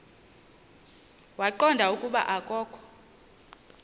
waqonda ukuba akokho